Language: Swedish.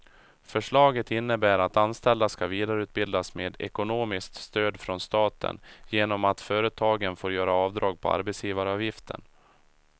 Förslaget innebär att anställda ska vidareutbildas med ekonomiskt stöd från staten genom att företagen får göra avdrag på arbetsgivaravgiften.